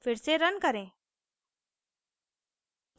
फिर से रन करें